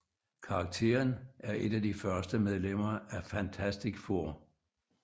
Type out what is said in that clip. Karakteren er et af de første medlemmer af Fantastic Four